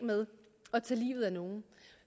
med at tage livet af nogen